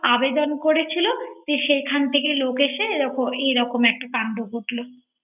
আবেদন করেছিল যেখান থেকে লোক এসেছে এরকম একটা কান্ড ঘটল